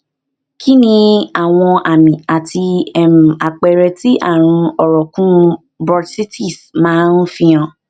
kí ni àwọn àmì àti um àpẹrẹ tí àrùn orokun bursitis um ma n fi han